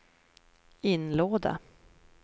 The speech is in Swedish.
inlåda